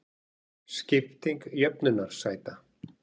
Skipting jöfnunarsæta